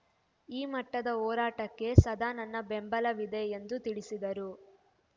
ಈ ಮಟ್ಟದ ಹೋರಾಟಕ್ಕೆ ಸದಾ ನನ್ನ ಬೆಂಬಲವಿದೆ ಎಂದು ತಿಳಿಸಿದರು